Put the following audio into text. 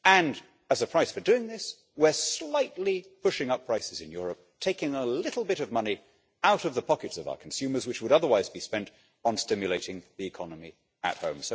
And as a price for doing this, we are slightly pushing up prices in Europe, taking a little bit of money out of the pockets of our consumers which would otherwise be spent on stimulating the economy at home.